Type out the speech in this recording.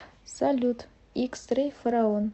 салют икс рэй фараон